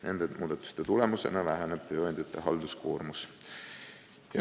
Nende muudatuste tulemusena väheneb tööandjate halduskoormus.